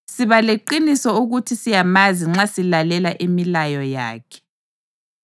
Siba leqiniso ukuthi siyamazi nxa silalela imilayo yakhe.